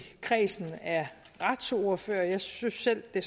kredsen retsordførere jeg synes selv at